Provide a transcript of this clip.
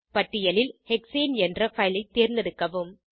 பட்டியலில் ஹெக்ஸேன் என்ற பைல் ஐ தேர்ந்தெடுக்கவும்